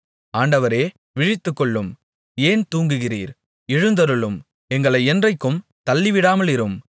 ஆண்டவரே விழித்துக்கொள்ளும் ஏன் தூங்குகிறீர் எழுந்தருளும் எங்களை என்றைக்கும் தள்ளிவிடாமலிரும்